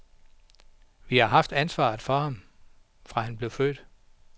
Vi har haft ansvaret for ham, fra han blev født.